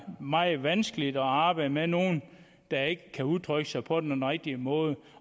meget vanskeligt at arbejde med nogle der ikke kan udtrykke sig på den rigtige måde